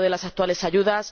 de las actuales ayudas